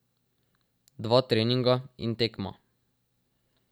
Dva treninga in tekma.